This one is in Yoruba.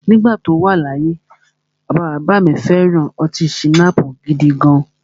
Nígbà tí o wà láyé, bàbá bàbá à mi fẹ̀ran ọtí schnapps gidigan.